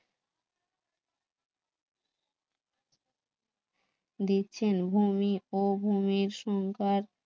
দেখছেন ভূমি ও ভূমির সং